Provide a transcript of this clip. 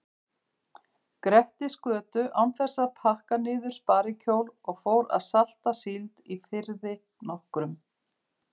Grettisgötu án þess að pakka niður sparikjól og fór að salta síld í firði nokkrum.